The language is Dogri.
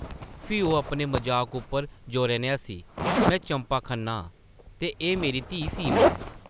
फ्ही ओह् अपने मजाक उप्पर जोरै नै हस्सी, में चंपा खन्ना आं ते एह् मेरी धीऽ सीमा ऐ ।